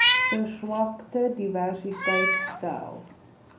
verswakte diversiteit stel